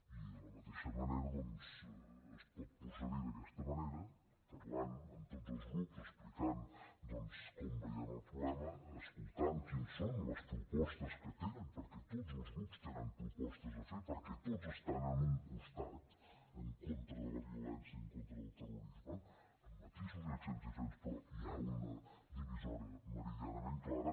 i de la mateixa manera doncs es pot procedir d’aquesta manera parlant amb tots els grups explicant com veiem el problema escoltant quines són les propostes que tenen perquè tots els grups tenen propostes a fer perquè tots estan en un costat en contra de la violència i en contra del terrorisme amb matisos i accents diferents però hi ha una divisòria meridianament clara